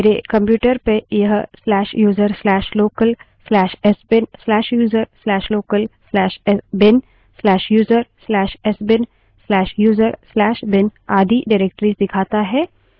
मेरे computer पर यह/user/local/sbin/user/local/bin/user/sbin/user/bin आदि निर्देशिकाएँ डाइरेक्टरिस दिखाता है